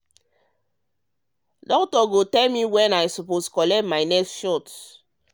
doctor go tell me when i suppose collect my next shot.